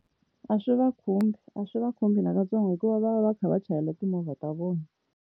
A swi va khumbi a swi va khumbi nakatsongo hikuva va va va kha va chayela timovha ta vona.